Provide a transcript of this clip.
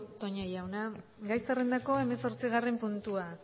toña jauna gai zerrendako hemezortzigarren puntua